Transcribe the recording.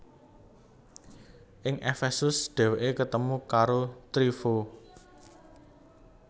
Ing Efesus dhèwèké ketemu karo Tryfo